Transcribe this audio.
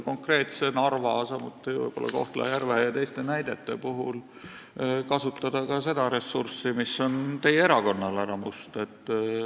Aga Narva, samuti võib-olla Kohtla-Järve ja teiste näidete puhul tuleks kindlasti kasutada ka seda ressurssi, mis on teie erakonnal, härra Must.